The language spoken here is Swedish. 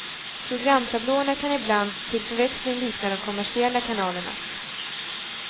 Programtablåerna kan ibland till förväxling likna de kommersiella kanalernas.